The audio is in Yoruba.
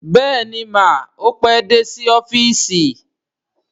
Bẹ́ẹ̀ni mà, ó pé dé sí ọ́fíìsì